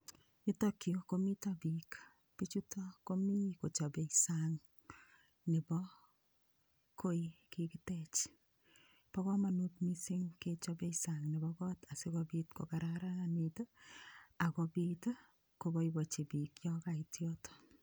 Yutokyu komito biik bichuto komi kochopei sang' nebo koi kikitech Bo komonut mising' kechobei sang' nebo kot asikobit kokararanit akobit koboiboichi biik yo kait yoto